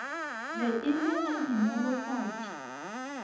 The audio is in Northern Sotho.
be e le a dinolofatši